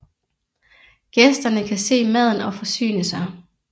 Gæsterne kan se maden og forsyne sig